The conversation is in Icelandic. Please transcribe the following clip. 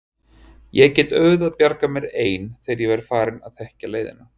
Ég get auðvitað bjargað mér ein þegar ég verð farin að þekkja leiðina.